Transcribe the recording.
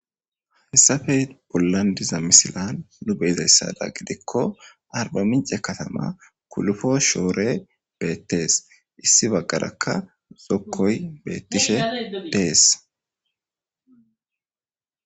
hessafe bollan diza misilan nu beezayssada gidikko arba mince katama kulufo shoore beettees issi baggarakka zokkoy beettishe dees